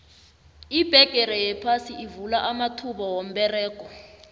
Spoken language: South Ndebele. ibhegere yaphasi ivula amathuba womberego